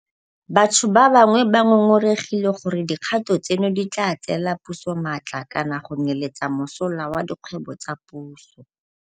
Batho ba bangwe ba ngongoregile gore dikgato tseno di tla tseela puso maatla kana go nyeletsa mosola wa dikgwebo tsa puso.